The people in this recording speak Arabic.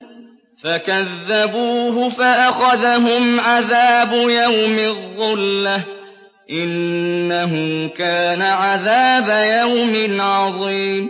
فَكَذَّبُوهُ فَأَخَذَهُمْ عَذَابُ يَوْمِ الظُّلَّةِ ۚ إِنَّهُ كَانَ عَذَابَ يَوْمٍ عَظِيمٍ